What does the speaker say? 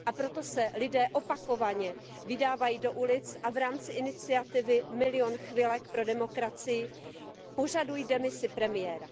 Proto se lidé opakovaně vydávají do ulic a v rámci iniciativy Milion chvilek pro demokracii požadují demisi premiéra.